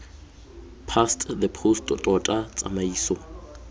past the post tota tsamaiso